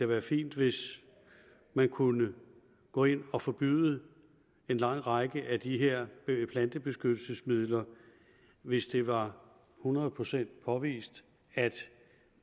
være fint hvis man kunne gå ind og forbyde en lang række af de her plantebeskyttelsesmidler hvis det var hundrede procent påvist at